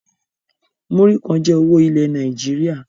Múrí kàn jẹ owó ilẹ̀ Nàìjíríà